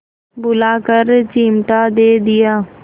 बुलाकर चिमटा दे दिया